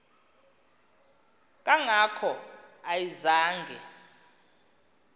kanga ko ayizange